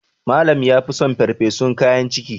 Malam ya fi son farfesun kayan ciki